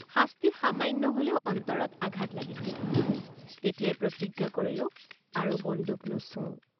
শাস্তি সামান্য হলেও অন্তৰত আঘাত লাগিছিল তেতিয়াই প্ৰতিজ্ঞা কৰিলোঁ আৰু বন্দুক নোচোওঁ।